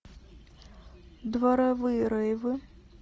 дворовые рейвы